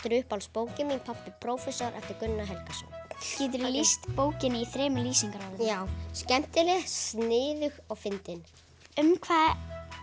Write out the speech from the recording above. er uppáhaldsbókin mín pabbi prófessor eftir Gunnar Helgason geturðu lýst bókinni í þremur lýsingarorðum já skemmtileg sniðug og fyndin um hvað